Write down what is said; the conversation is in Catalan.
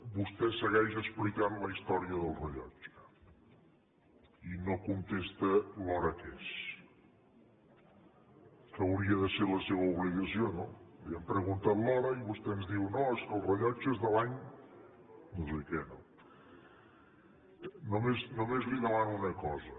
vostè segueix explicant la història del rellotge i no contesta l’hora que és que hauria de ser la seva obligació no li hem preguntat l’hora i vostè ens diu no és que el rellotge és de l’any no sé què no només li demano una cosa